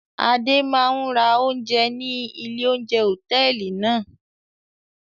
Adé máa ń ra oúnjẹ ní ilé-oúnjẹ hòtẹ́ẹ́lì náà.